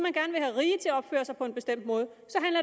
at opføre sig på en bestemt måde